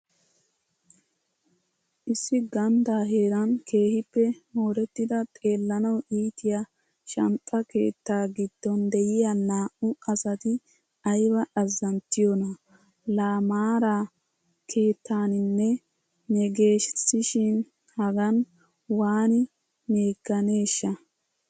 Issi ganddaa heeraan keehiippe moorettida xeellanawu iitiya shanxxa keettaa gidon de'iya naa'u asati ayba azzanttiyoona!! Laa maara keettanninne meggeesishin hagan waani meeganeeshsha!